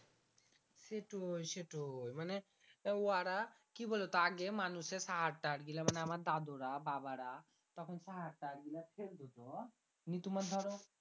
সেটই সেটই মানে ওয়ারা কি বুলোতো আগে মানুষের সাহার তাহার গীলা আমার দাদুরা বাবারা তখন সাহার তাহার গীলা ফেল দিতো দিয়ে তুমার ধরো